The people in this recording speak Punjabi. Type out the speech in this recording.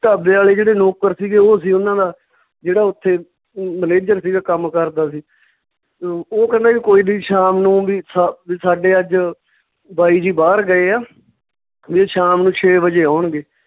ਢਾਬੇ ਆਲੇ ਜਿਹੜੇ ਨੌਕਰ ਸੀਗੇ ਓਹ ਸੀ ਓਨਾਂ ਦਾ, ਜਿਹੜਾ ਓਥੇ manager ਸੀਗਾ ਕੰਮ ਕਰਦਾ ਸੀ ਅਹ ਓਹ ਕਹਿੰਦਾ ਵੀ ਕੋਈ ਨੀ ਸ਼ਾਮ ਨੂੰ ਵੀ ਸਾ~ ਵੀ ਸਾਡੇ ਅੱਜ ਬਾਈ ਜੀ ਬਾਹਰ ਗਏ ਆ ਵੀ ਉਹ ਸ਼ਾਮ ਨੂੰ ਛੇ ਵਜੇ ਆਉਣਗੇ